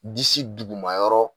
Disi duguma yɔrɔ